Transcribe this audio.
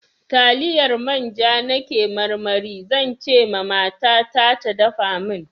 Taliyar manja na ke marmari, zan ce ma mata ta da dafa min.